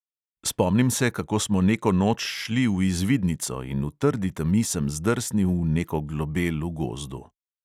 Spomnim se, kako smo neko noč šli v izvidnico in v trdi temi sem zdrsnil v neko globel v gozdu.